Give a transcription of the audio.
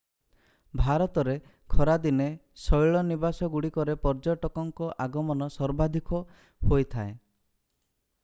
ଭାରତରେ ଖରାଦିନେ ଶୈଳନିବାସଗୁଡ଼ିକରେ ପର୍ଯ୍ୟଟକଙ୍କ ଆଗମନ ସର୍ବାଧିକ ହୋଇଥାଏ